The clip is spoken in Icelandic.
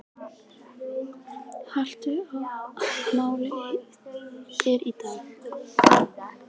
Hallvör, hvaða mánaðardagur er í dag?